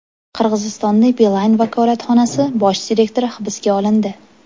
Qirg‘izistonda Beeline vakolatxonasi bosh direktori hibsga olindi.